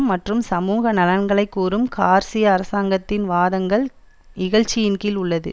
மற்றும் சமூக நலன்களை கூறும் கார்சியா அரசாங்கத்தின் வாதங்கள் இகழ்ச்சியின்கீழ் உள்ளது